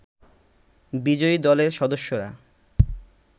বিজয়ী দলের সদস্যরা